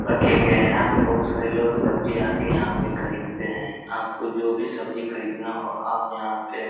रखे गये हैं। यहाँ पे बहुत सारे लोग सब्जी आकर यहाँ पे खरीदते हैं। आपको जो भी सब्जी खरीदना हो आप यहाँ पे --